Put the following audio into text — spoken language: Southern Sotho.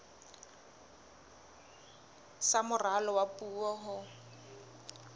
sa moralo wa puo ho